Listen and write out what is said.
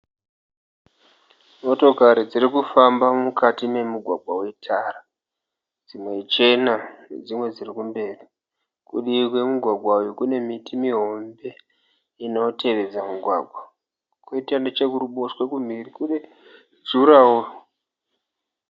Motokari dzirikufamba mukati memugwagwa wetara. Dzimwe ichena dzimwe dzirikumberi. Kudivi kwemugwagwa uyu kune miti muhombe inotevedza mugwagwa. Kwoita nechekuruboshwe kumhiri kune juraho.